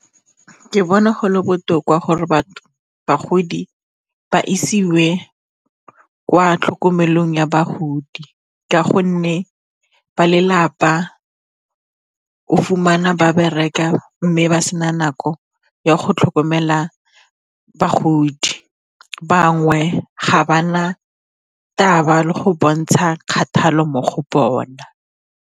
Ke bona go le botoka gore bagodi ba isiwe kwa tlhokomelong ya bagodi ka gonne ba lelapa o fumana ba bereka, mme ba sena nako ya go tlhokomela bagodi, bangwe ga ba na taba le go bontsha kgathalo mo go bona.